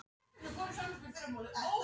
Maður þurfti alltaf að skammast sín.